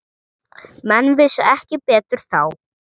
Menn vissu ekki betur þá.